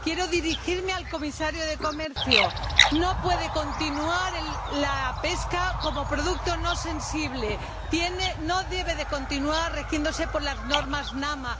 Quiero dirigirme al Comisario de Comercio no puede continuar considerándose la pesca como producto no sensible no debe continuar rigiéndose por las normas AMNA